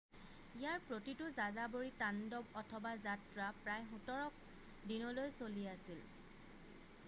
ইয়াৰ প্ৰতিটো যাযাবৰী তাণ্ডৱ অথবা যাত্ৰা প্ৰায় 17 দিনলৈ চলি আছিল